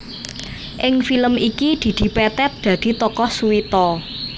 Ing film iki Didi Petet dadi tokoh Suwito